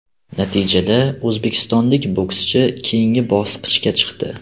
Natijada o‘zbekistonlik bokschi keyingi bosqichga chiqdi.